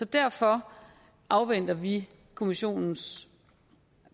derfor afventer vi kommissionens